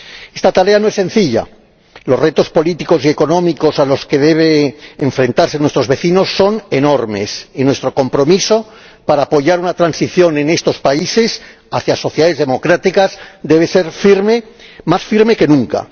Esta tarea no es sencilla los retos políticos y económicos a los que deben enfrentarse nuestros vecinos son enormes y nuestro compromiso para apoyar una transición en estos países hacia sociedades democráticas debe ser más firme que nunca.